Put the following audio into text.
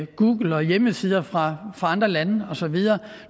google og hjemmesider fra andre lande og så videre og